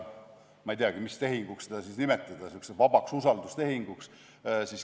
Ma ei teagi, mis tehinguks neid siis nimetada, kas sellisteks vabadeks usaldustehinguteks.